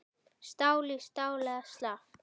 Stál í stál eða slappt?